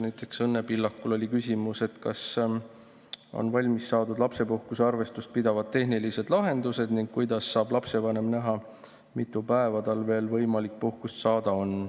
Näiteks oli Õnne Pillakul küsimus, kas on valmis saadud lapsepuhkuse arvestust tehnilised lahendused ning kuidas saab lapsevanem näha, mitu päeva tal veel võimalik puhkust saada on.